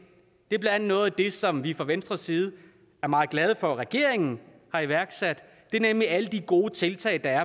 er blandt andet noget af det som vi fra venstres side er meget glade for at regeringen har iværksat nemlig alle de gode tiltag der er